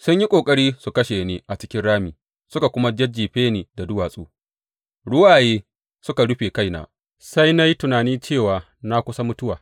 Sun yi ƙoƙari su kashe ni a cikin rami suka kuma jajjefe ni da duwatsu; ruwaye suka rufe kaina, sai na yi tunani cewa na kusa mutuwa.